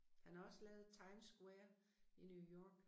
Han har også lavet Times Square i New York